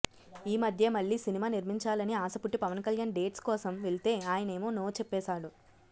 ఈ మధ్యే మళ్లీ సినిమా నిర్మించాలని ఆశ పుట్టి పవన్ కళ్యాణ్ డేట్స్ కోసం వెళ్తే ఆయనేమో నో చెప్పేసాడు